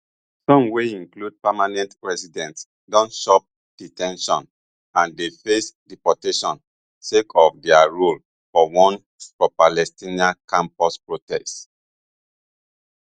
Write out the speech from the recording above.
some wey include permanent residents don chop de ten tion and dey face deportation sake of dia role for one propalestinian campus protests